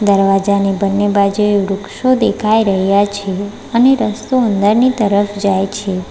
દરવાજાની બંને બાજુએ વૃક્ષો દેખાઈ રહ્યા છે અને રસ્તો અંદરની તરફ જાય છે.